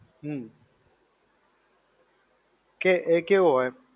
હમ. કે એ કેવો હોય?